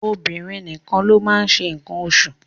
Obìnrin nìkan ló máa ń ṣe nǹkan oṣù